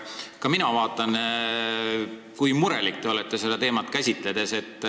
Ka mina vaatan, kui murelik te olete seda teemat käsitledes.